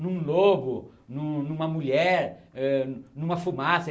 Em um lobo, Em uma mulher, eh em uma fumaça.